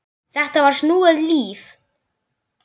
Þetta var snúið líf.